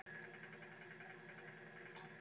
Áslaug sendi þeim fingurkoss og hló.